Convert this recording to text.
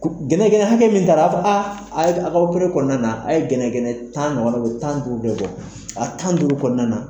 Gɛnɛgɛn hakɛ min taara a ba fɔ a, aw ka kɔnɔna na, a ye gɛnɛgɛnɛ tan nɔgɔna u ye tan duuru bɛɛ bɔ a tan ni duuru kɔnɔna na.